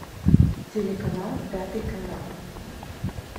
телеканал пятый канал